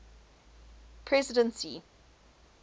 presidency